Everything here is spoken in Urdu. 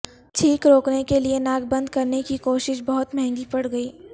چھینک روکنے کیلئے ناک بند کرنے کی کوشش بہت مہنگی پڑ گئی